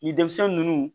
Ni denmisɛn nunnu